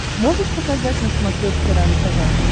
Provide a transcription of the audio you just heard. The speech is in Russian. можешь показать на смотрешке рентв